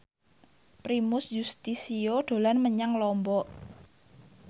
Primus Yustisio dolan menyang Lombok